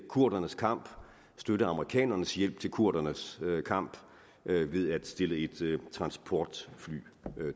kurdernes kamp støtte amerikanernes hjælp til kurdernes kamp ved ved at stille et transportfly